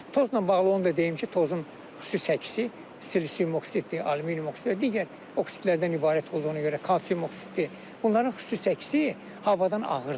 Tozla bağlı onu da deyim ki, tozun xüsusi çəkisi silisium oksiddir, alüminium oksid və digər oksidlərindən ibarət olduğuna görə kalsium oksiddir, bunların xüsusi çəkisi havadan ağırdır.